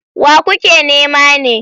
Wa kuke nema ne?